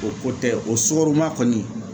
O ko tɛ o sukaroma kɔni